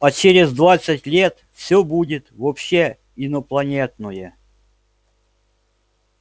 а через двадцать лет всё будет вообще инопланетное